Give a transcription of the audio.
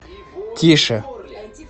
тише